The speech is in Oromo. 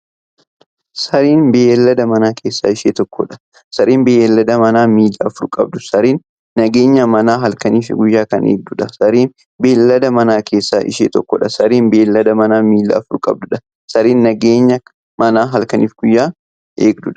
Sareen beeylada manaa keessaa ishee tokkodha. Sareen beeylada manaa miilla afur qabuudha. Sareen nageenya manaa halkaniif guyyaa kan eegduudha. Sareen beeylada manaa keessaa ishee tokkodha. Sareen beeylada manaa miilla afur qabuudha. Sareen nageenya manaa halkaniif guyyaa kan eegduudha.